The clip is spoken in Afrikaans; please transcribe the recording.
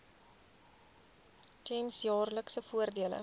gems jaarlikse voordele